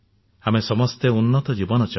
ଆମେ ସମସ୍ତେ ଉନ୍ନତଜୀବନ ଚାହୁଁ